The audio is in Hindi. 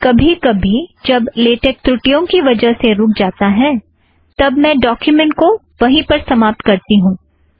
कभी कभी जब लेटेक त्रुटियों की वजह से रुख जाती है तब मैं डॉक्युमेंट को वहीं पर समाप्त करती हूँ